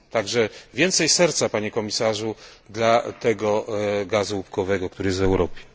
Także więcej serca Panie Komisarzu dla tego gazu łupkowego, który jest w Europie.